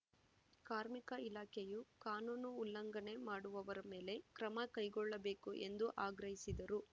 ಕಾರ್ಮಿಕ ಇಲಾಖೆಯು ಕಾನೂನು ಉಲ್ಲಂಘನೆ ಮಾಡುವವರ ಮೇಲೆ ಕ್ರಮ ಕೈಗೊಳ್ಳಬೇಕು ಎಂದು ಆಗ್ರಹಿಸಿದರು